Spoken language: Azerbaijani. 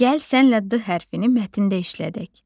Gəl sənlə D hərfini mətndə işlədək.